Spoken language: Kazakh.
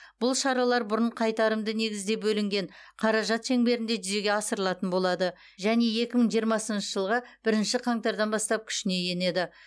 бұл шаралар бұрын қайтарымды негізде бөлінген қаражат шеңберінде жүзеге асырылатын болады және екі мың жиырмасыншы жылғы бірінші қаңтардан бастап күшіне енеді